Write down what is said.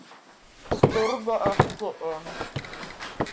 spurði ekki um